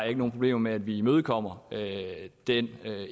ikke nogen problemer med at vi imødekommer den